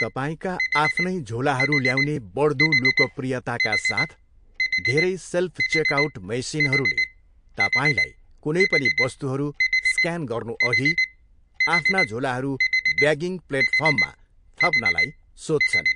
तपाईँका आफ्नै झोलाहरू ल्याउने बढ्दो लोकप्रियताका साथ, धेरै सेल्फ चेकआउट मेसिनहरूले तपाईँलाई कुनै पनि वस्तुहरू स्क्यान गर्नुअघि आफ्ना झोलाहरू ब्यागिङ प्लेटफर्ममा थप्नलाई सोध्छन्।